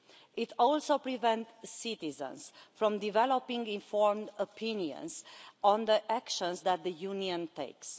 It also prevents citizens from developing informed opinions on the actions that the Union takes.